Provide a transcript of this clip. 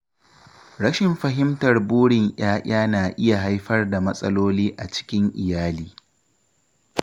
Rashin fahimtar burin ‘ya’ya na iya haifar da matsaloli a cikin iyali.